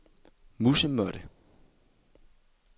musemåtte